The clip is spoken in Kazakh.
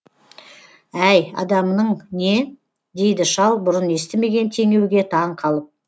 әй адамның не дейді шал бұрын естімеген теңеуге таңқалып